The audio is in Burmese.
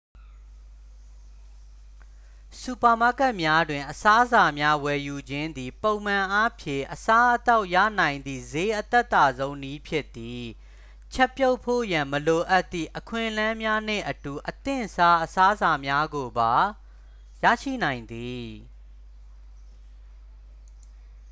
စူပါမားကတ်များတွင် အစားအစာများဝယ်ယူခြင်းသည် ပုံမှန်အားဖြင့် အစားအသောက်ရနိုင်သည့် ဈေးအသက်သာဆုံးနည်းဖြစ်သည် ချက်ပြုတ်ဖို့ရန် မလိုအပ်သည့် အခွင့်အလမ်းများနှင့်အတူ အသင့်စား အစားအစာများကိုပါ ရရှိနိုင်သည်